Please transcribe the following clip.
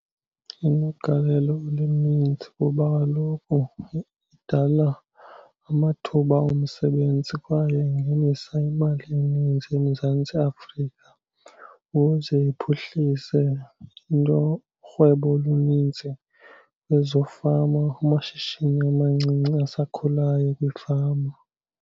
Inogalelo oluninzi kuba kaloku idala amathuba omsebenzi kwaye ingenisa imali eninzi eMzantsi Afrika ukuze iphuhlise urhwebo oluninzi kwezo fama, kumashishini amancinci asakhulayo kwiifama.